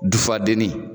Dufadenni